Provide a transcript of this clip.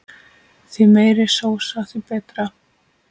Því meiri sósa því betra.